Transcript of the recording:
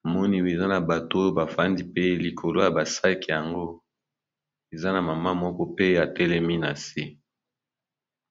namoni eza na bato oyo bafandi mpe likolo ya ba sac yango eza na mama moko pe atelemi na se.